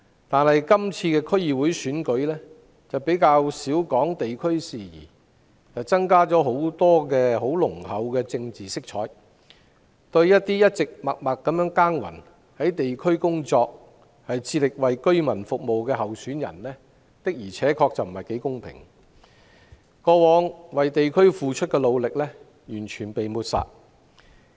但是，今次區議會選舉較少提及地區事宜，大幅增加濃厚政治色彩，對於一直在地區默默耕耘地工作，致力為居民服務的候選人不太公平，他們過往為地區付出的努力完全被抹煞。